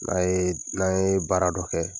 N'an ye n'an ye baara dɔ kɛ